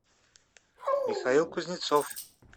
михаил кузнецов